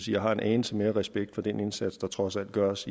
jeg har en anelse mere respekt for den indsats der trods alt gøres